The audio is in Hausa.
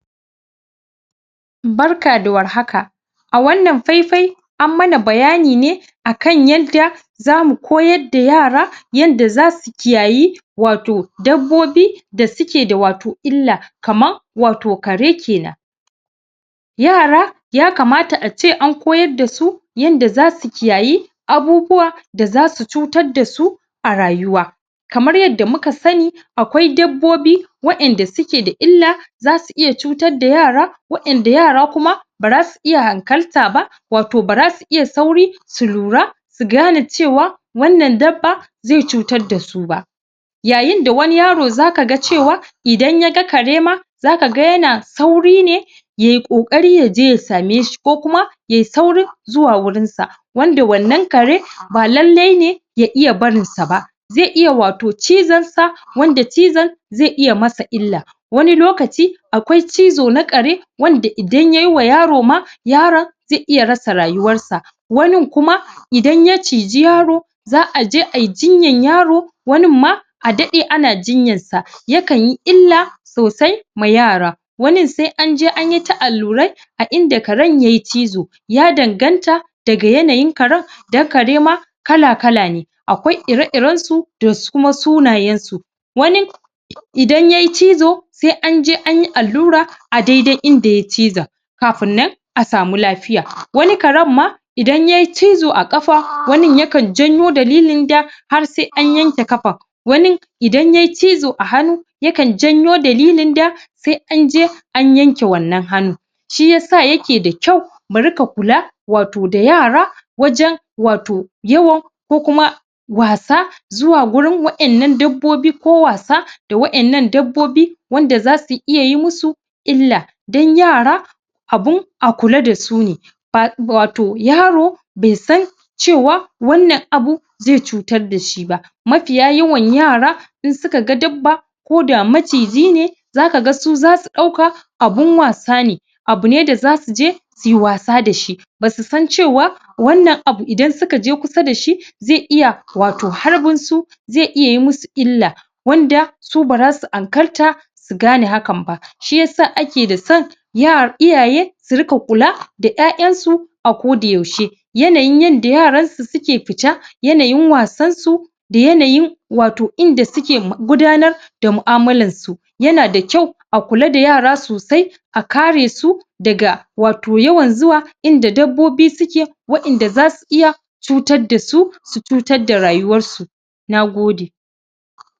Barka da war haka wannan faifai an mana bayani akan yanda za mu koyar da yara yanda zasu kiyaye wato dabbobi da suke da wato illa kaman wato kare kenan yara ya kamata ace an koyar dasu yanda zasu kiyaye abubuwa da zasu cutar da su arayuwa kamar yadda muka sani akwai dabbobi wa'yanda suke da illa zasu iya cutar da yara wa'yanda yara kuma bara su iya hankalta wato bara su iya sauri su lura su gane cewa wannan dabba zai cutar da su ba yayin da wani yaro zaka cewa idan yaga karema zaka ga yana sauri ne yayi kokari yaje ya same shi kuma ya yi saurin zuwa wurin sa wanda wannan kare ba lallai ne ya iya barin sa ba zai iya wato cizon sa da cizon zai iya masa illa wani lokaci akwai cizo na kare wanda da idan yayi wa yaro ma yaron zai iya rasa rayuwar sa wanin kuma idan ya ciji yaro, za'a je ayi jinya yaro wannin ma a daɗe ana jinyan sa yakan yi illa sosai ma yara wanin sai an ja anta allurai a inda karen yayi cizo ya danganta daga yanayin karen dan karema kalakal ne akwai ire ire-iren su da kuma sunayen su wanin idan yayi cizo, sai anje an yi allura a daidai inda yayi cizon kafinnan kafin nan wani karen ma idan yayi cizo, a ƙafa wanin yakan janyo dalilin da har sai an yanke kafan wanin idan yayi cizo a hanu, yakan janyo dalilin da sai an je an yanke wannan hanu. Shi yasa yake da kyau mu riƙa kula wajan wato ya wajan wato yawo ko kuma wasa Zuwa gurin wa' ƴannan dabbobi ko wasa da Waƴannan dabbobi wanda zasu iya yi musu illa dan yara abun a kula da su ne wato yaro bai san cewa wannan abu zai cutar da shi ba Mafiya yawan yara in suka ga dabba koda maciji ne zaka ga su zasu ɗauka abun wasa ne abu ne da zasu je suyi wasa da shi basu san cewa wannan abu idan suka je kusa da shi zai iya wato harbin su zai iya yi musu illa wanda su Bara su hankalta su gane hakan ba shi yasa ake son iyaye su riƙa kula ƴaƴan su a koda yaushe yanayin yadda yaran suke fita yanayin wasan su da yanayin wato inda suke gudanar da mu'amalan su yana da kyau a kula da yara sosai a kare su daga wato yawan zuwa inda dabbobi suke wa'ƴanda za su iya Cutar da su su cutar da rayuwar su. Nagode.